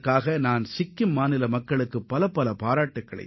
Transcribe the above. இதற்காக சிக்கிம் மக்களை நான் மனதாரப் பாராட்டுகிறேன்